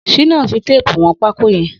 Shina n fi téèpú wọn pákó yèn